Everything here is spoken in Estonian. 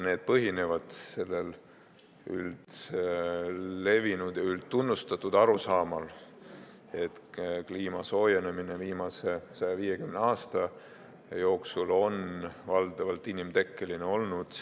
See põhineb sellisel üldlevinud ja üldtunnustatud arusaamal, et kliima soojenemine on viimase 150 aasta jooksul olnud valdavalt inimtekkeline.